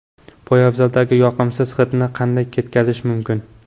Poyabzaldagi yoqimsiz hidni qanday ketkazish mumkin?.